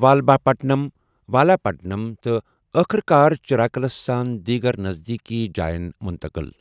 والبھاپٹنَم والاپٹنَم تہٕ ٲخٕر کار چِراکلس سان دیٖگر نزدیٖکی جاین مُنتٔقل